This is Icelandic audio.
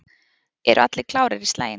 Eru allir klárir í slaginn?